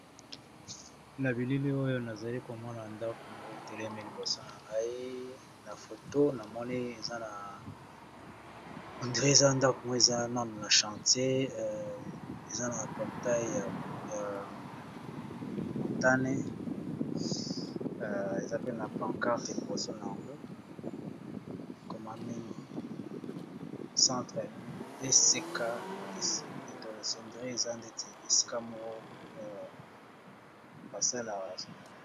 Na bilili oyo nazali komona ndako moko etelemi liboso na ngai na foto na monei eza na hendre eza ndako mok eza none na chantier eza na portail ya montane eza pena pancarte liboso na yango ekomami centre esika de toles ondre eza ndeti esika moko parsel ya rason.